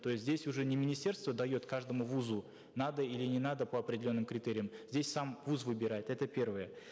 то есть здесь уже не министерство дает каждому вузу надо или не надо по определенным критериям здесь сам вуз выбирает это первое